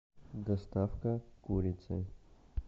доставка курицы